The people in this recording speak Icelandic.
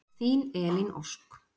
Þín Elín Ósk.